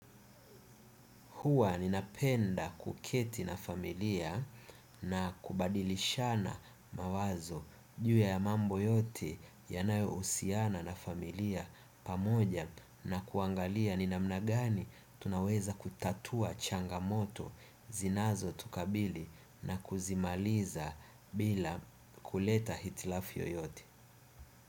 Hua ninapenda kuketi na familia na kubadilishana mawazo juu ya mambo yote yanayohusiana na familia pamoja na kuangalia ni namna gani tunaweza kutatua changamoto zinazotukabili na kuzimaliza bila kuleta hitilafu yoyote.